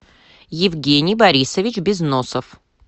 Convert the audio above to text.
евгений борисович безносов